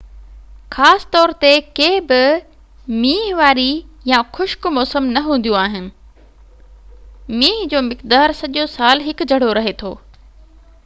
خاص طور تي ڪي بہ مينهن واري يا خشڪ موسم نہ هونديون آهن مينهن جو مقدار سڄو سال هڪ جهڙو رهي ٿو